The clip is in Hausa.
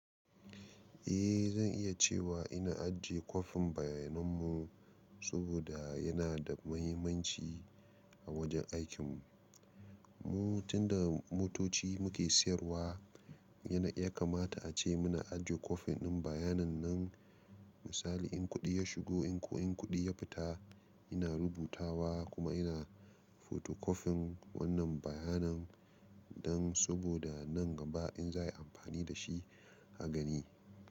Eh zan iya cewa ina ajiye kwafin bayanan mu saboda yana da muhimmanci a wajen aikin mu. Tunda motoci muke siyarwa yana yakamata ace mana ajiye kwafin ɗin bayanin nan misali in kuɗi ya shigo in kuɗi ya fita ina rubutawa kuma ina photocopying wannan bayanan nan saboda nan gaba in za ayi amfani dashi a gani.